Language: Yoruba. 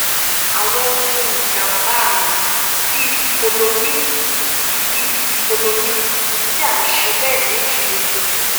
àwọn ohun ìjàǹbá àrùn bíi dicyclomine tí bíi dicyclomine tí a ń ṣe lẹ́ẹ̀mejì lójoojúmọ́